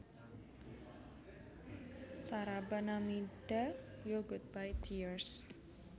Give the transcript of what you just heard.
Saraba Namida Yo Goodbye Tears